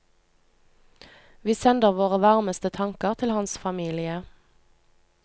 Vi sender våre varmeste tanker til hans familie.